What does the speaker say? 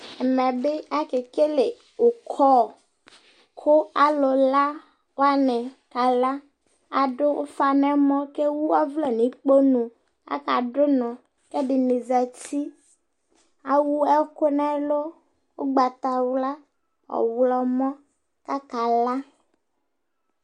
ɛmɛ bi ake kele ukɔ kò alo la wani kala ado ufa n'ɛmɔ k'ewu ɔvlɛ n'ukponu aka do unɔ k'ɛdini zati ewu ɛkò n'ɛlu ugbata wla ɔwlɔmɔ k'aka la